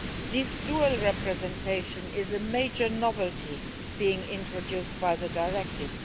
This dual representation is a major novelty being introduced by the directive.